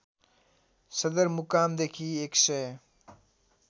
सदरमुकामदेखि १ सय